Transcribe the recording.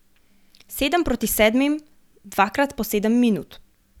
Sedem proti sedmim, dvakrat po sedem minut.